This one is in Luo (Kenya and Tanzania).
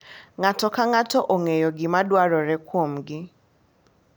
Ng’ato ka ng’ato ong’eyo gima dwarore kuomgi .